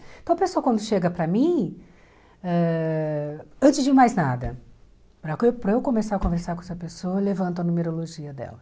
Então a pessoa quando chega para mim, ãh antes de mais nada, para co para eu começar a conversar com essa pessoa, eu levanto a numerologia dela.